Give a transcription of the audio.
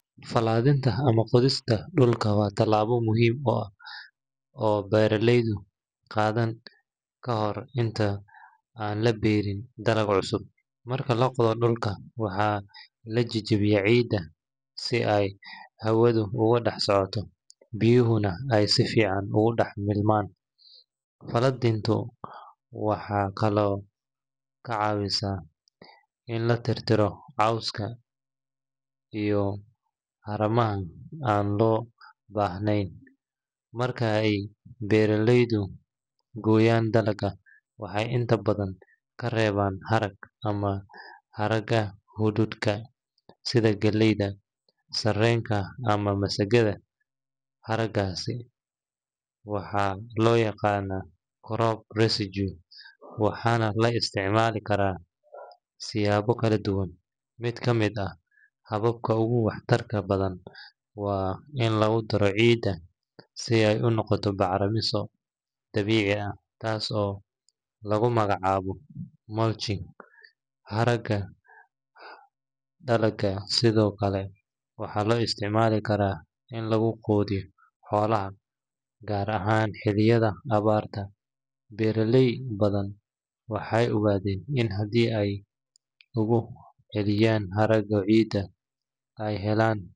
Falaadhinta ama qodista dhulka waa tallaabo muhiim ah oo beeraleydu qaadaan ka hor inta aan la beeriin dalag cusub. Marka la qodo dhulka, waxaa la jebiyaa ciidda si ay hawadu ugu dhex socoto, biyuhuna ay si fiican ugu dhex milmaan. Falaadhintu waxay kaloo ka caawisaa in la tirtiro cawska iyo haramaha aan loo baahnayn. Marka ay beeraleydu gooyaan dalagga, waxay inta badan ka reebaan harag ama haraaga hadhuudhka sida galleyda, sarreenka, ama masagada. Haraadigaas waxaa loo yaqaannaa crop residues, waxaana la isticmaali karaa siyaabo kala duwan. Mid ka mid ah hababka ugu waxtarka badan waa in lagu daro ciidda si ay u noqoto bacrimiso dabiici ah, taas oo lagu magacaabo mulching. Haraaga dalagga sidoo kale waxaa loo isticmaali karaa in lagu quudiyo xoolaha, gaar ahaan xilliyada abaarta. Beeraley badan waxay ogaadeen in haddii ay dib ugu celiyaan haraaga ciidda, ay helaan.